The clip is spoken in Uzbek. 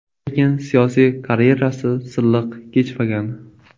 Lekin siyosiy karyerasi silliq kechmagan.